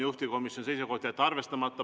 Juhtivkomisjoni seisukoht on jätta see arvestamata.